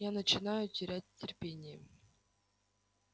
я начинаю терять терпение